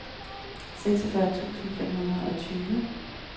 seksogfyrre tusind fem hundrede og tyve